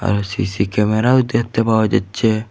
আর CC ক্যামেরাও দেখতে পাওয়া যাচ্ছে।